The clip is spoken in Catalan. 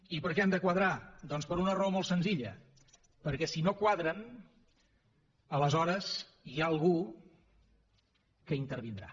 i per què han de quadrar doncs per una raó molt senzilla perquè si no quadren aleshores hi ha algú que intervindrà